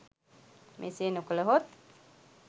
මෙසේ නොකළහොත්